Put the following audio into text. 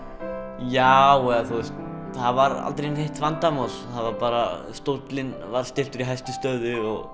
já eða þú veist það var aldrei neitt vandamál stóllinn var stilltur í hæstu stöðu og